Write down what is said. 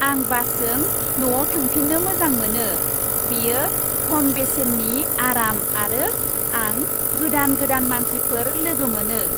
आं बासजों न'आव थांफिननो मोजां मोनो। बेयो खम बेसेननि, आराम आरो आं गोदान गोदान मानसिफोर लोगो मोनो।